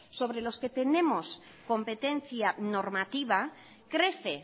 sobre los que tenemos competencia normativa crece